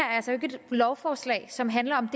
altså ikke et lovforslag som handler om